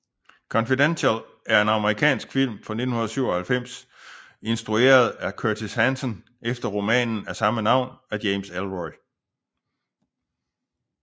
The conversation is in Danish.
Confidential er en amerikansk film fra 1997 instrueret af Curtis Hanson efter romanen af samme navn af James Ellroy